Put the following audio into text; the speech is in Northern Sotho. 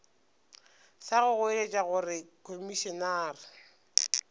sa go goeletša gore komišenare